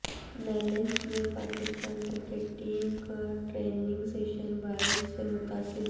Nelson میں Pakistan cricket team کا training session بارش سے متاثر